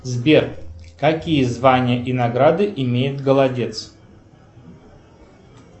сбер какие звания и награды имеет голодец